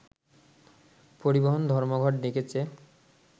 পরিবহন ধর্মঘট ডেকেছে